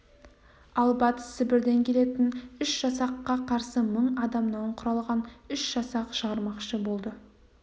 ал батыс сібірден келетін үш жасаққа қарсы мың адамнан құрылған үш жасақ шығармақшы болды